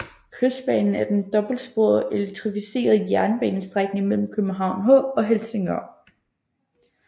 Kystbanen er den dobbeltsporede og elektrificerede jernbanestrækning mellem København H og Helsingør